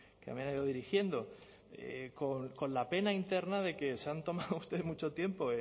dirigiendo con la pena interna de que se han tomado ustedes mucho tiempo